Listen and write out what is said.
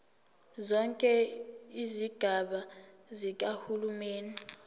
zonke izigaba zikahulumeni